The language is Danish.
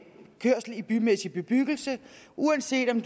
kørsel i bymæssig bebyggelse uanset om